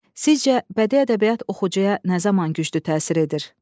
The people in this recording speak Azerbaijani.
Sizcə bədii ədəbiyyat oxucuya nə zaman güclü təsir edir?